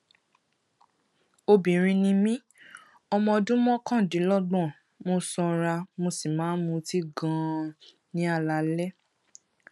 obìnrin ni mí ọmọ ọdún mọkàndínlọgbọn mo sanra mo sì máa ń mutí ganan ní alaalẹ